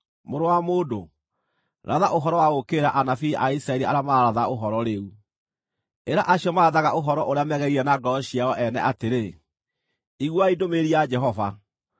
“Mũrũ wa mũndũ, ratha ũhoro wa gũũkĩrĩra anabii a Isiraeli arĩa mararatha ũhoro rĩu. Ĩra acio marathaga ũhoro ũrĩa megereirie na ngoro ciao ene atĩrĩ: ‘Iguai ndũmĩrĩri ya Jehova!